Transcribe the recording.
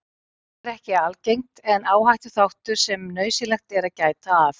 Þetta er ekki algengt en áhættuþáttur sem nauðsynlegt er að gæta að.